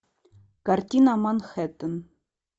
картина манхэттен